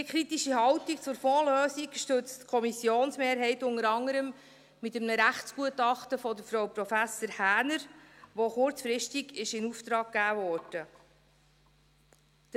Diese kritische Haltung zur Fondslösung stützt die Kommissionsmehrheit unter anderem mit einem Rechtsgutachten von Frau Prof. Häner, das kurzfristig in Auftrag gegeben wurde.